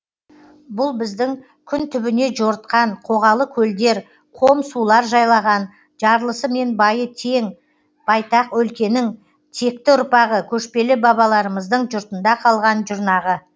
бұл біздің күн түбіне жорытқан қоғалы көлдер қом сулар жайлаған жарлысы мен байы тең кең байтақ өлкенің текті ұрпағы көшпелі бабаларымыздың жұртында қалған жұрнағы